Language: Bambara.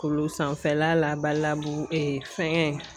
Kulu sanfɛla la Badalabugu fɛngɛ